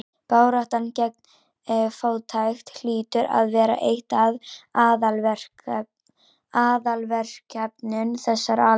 Baráttan gegn fátækt hlýtur að vera eitt af aðalverkefnum þessarar aldar.